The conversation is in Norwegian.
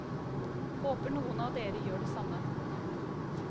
Håper noen av dere gjør det samme.